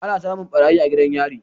ana samun ɓarayi a gidan yario